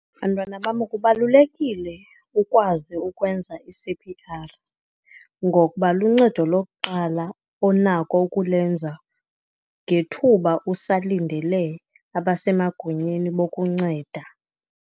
Bantwana bam, kubalulekile ukwazi ukwenza i-C_P_R, ngokuba luncedo lokuqala onako ukulenza ngethuba usalindele abasemagunyeni bokunceda.